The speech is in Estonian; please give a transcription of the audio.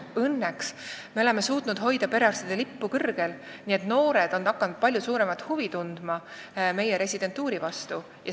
Õnneks oleme suutnud hoida perearstide lippu kõrgel, nii et noored on hakanud meie residentuuri vastu palju suuremat huvi tundma.